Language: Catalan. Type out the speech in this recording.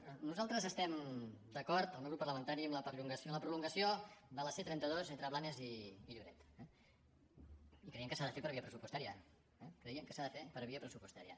nosaltres estem d’acord el meu grup parlamentari amb la prolongació de la c trenta dos entre blanes i lloret i creiem que s’ha de fer per via pressupostària eh creiem que s’ha de fer per via pressupostària